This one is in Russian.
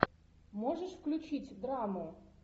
можешь включить драму